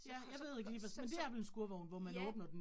Så så så så ja